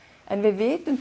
við vitum